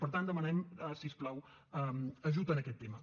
per tant demanem si us plau ajut en aquest tema